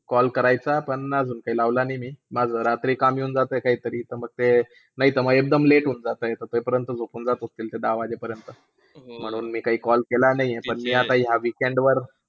Call करायचा पण अजून काही लावला नाही मी माझं रात्री काम येऊन जातं काहीतरी त मग ते न्हिहितर एकदम late होऊन जातं. तोच पर्यंत झोपून जात असतील तो दहा वाजे पर्यंत. म्हणून मी काही call केला नाही आहे पण मी या WEEKEND वर.